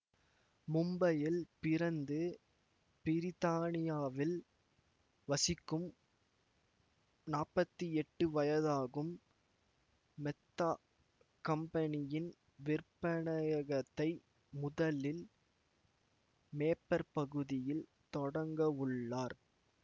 மும்பையில் பிறந்து பிரித்தானியாவில் வசிக்கும் நாப்பத்தி எட்டு வயதாகும் மெத்தா கம்பனியின் விற்பனையகத்தை முதலில் மேபர் பகுதியில் தொடங்கவுள்ளார்